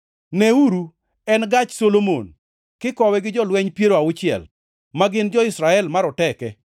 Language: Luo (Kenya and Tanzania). Neuru, en gach Solomon, kikowe gi jolweny piero auchiel, ma gin jo-Israel maroteke,